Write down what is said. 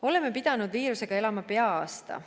Oleme pidanud viirusega elama pea aasta.